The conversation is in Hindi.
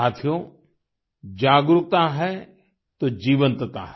साथियो जागरूकता है तो जीवंतता है